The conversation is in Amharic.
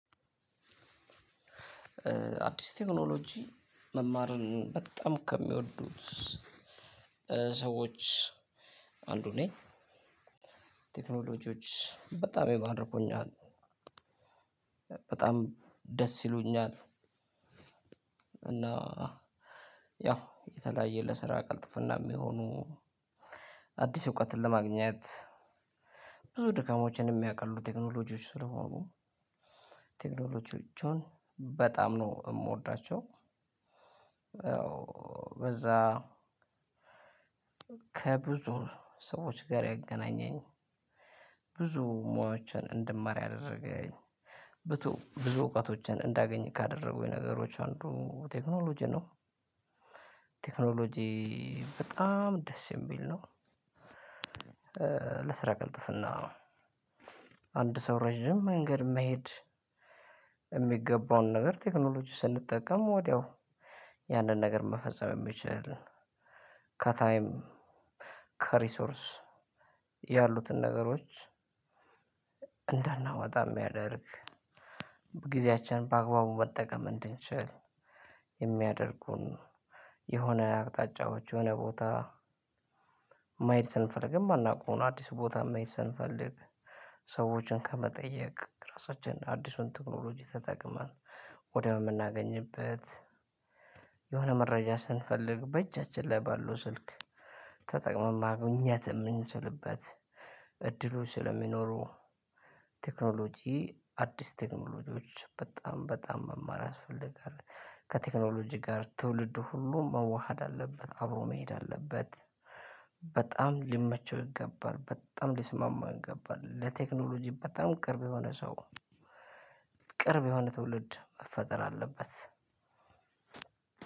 አዲስ ቴክኖሎጂ መማርን በጣም ከሚወዱት ሰዎች አንዱ ነኝ ቴክኖሎጂዎች በጣም ይማርኩኛል፣ በጣም ደስ ይሉኛል፣ እና ያው የተለያየ ለስራ ቅልጥፍና የሚሆኑ አዲስ እውቀትን ለማግኘት ብዙ ድካሞችን የሚያቀሉ ቴክኖሎጂዎች ስለሆኑ ቴክኖሎጂዎችን በጣም ነው የምወዳቸው። ያው በዛ ከብዙ ሰዎች ጋር ያገናኘኝ ብዙ ሙያዎችን እንድማር ያደረገኝ ብዙ እውቀቶችን እንዳገኝ ካደረጉኝ ነገሮች አንዱ ቴክኖሎጂ ነው። ቴክኖሎጂ በጣም ደስ የሚል ነው። ለስራ ቅልጥፍና፣ አንድ ሰው ረጅም መንገድ መሄድ የሚገባውን ነገር ቴክኖሎጂ ስንጠቀም ወዲያው ያንን ነገር መፈጸም የሚችል ከታይም፣ ከሪሶርስ ያሉትን ነገሮች እንዳናወጣ የሚያደርግ ጊዜያችንን በአግባቡ መጠቀም እንድንችል የሚያደርጉን የሆነ አቅጣጫዎች የሆነ ቦታ መሄድ ስንፈልግም የማናውቀውን አዲስ ቦታ መሄድ ስንፈልግ ሰዎችን ከመጠየቅ ራሳችን አዲሱን ቴክኖሎጂ በመጠቀም ወድያው የምናገኝበት የሆነ መረጃ ስንፈልግ በእጃችን ላይ ባለው ስልክ ተጠቅመን ማግኘት የምንችልበት እድሉ ስለሚኖሩ ቴክኖሎጂ አዲስ ቴክኖሎጂዎች በጣም በጣም መማር ያስፈልጋል። ከቴክኖሎጂ ጋር ትውልድ ሁሉም መዋሃድ አለበት አብሮ መሄድ አለበት። በጣም ሊመቸው ይገባል። በጣም ሊስማማው ይገባል። ለቴክኖሎጂ በጣም ቅርብ የሆነ ሰው ቅርብ የሆነ ትውልድ መፈጠር አለበት።